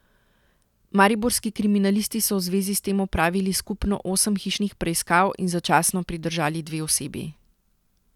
Mariborski kriminalisti so v zvezi s tem opravili skupno osem hišnih preiskav in začasno pridržali dve osebi.